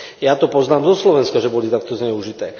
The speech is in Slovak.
Ja to poznám zo Slovenska, že boli takto zneužité.